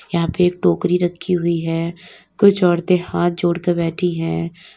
यहां पे एक टोकरी रखी हुई है कुछ औरतें हाथ जोड़कर बैठी हैं।